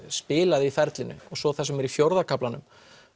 spilaði í ferlinu og svo það sem er í fjórða kaflanum